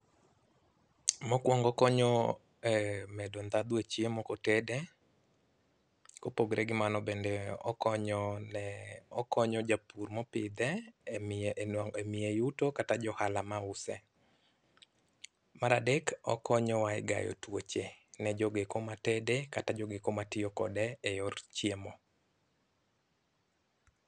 Mokuongo okonyo e medo ndhadhu e chiemo kotede. Kopogore gi mano bende okonyo ne okonyo japur mopidhe emiye nwa emiye yuto kata jo ohala mause. Mar adek okonyowa e gayo tuoche ne jogo eko matede kata jogo eko matiyo kode eyor chiemo.